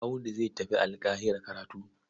Audu zai tafi Alƙahira karatu.